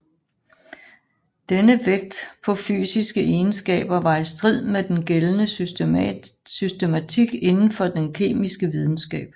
Denne vægt på fysiske egenskaber var i strid med den gældende systematik indenfor den kemiske videnskab